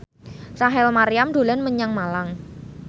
Rachel Maryam dolan menyang Malang